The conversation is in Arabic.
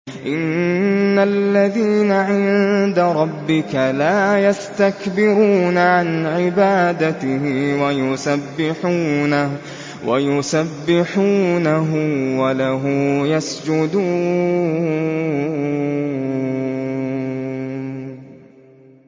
إِنَّ الَّذِينَ عِندَ رَبِّكَ لَا يَسْتَكْبِرُونَ عَنْ عِبَادَتِهِ وَيُسَبِّحُونَهُ وَلَهُ يَسْجُدُونَ ۩